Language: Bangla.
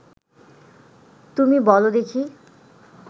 তুমি বল দেখি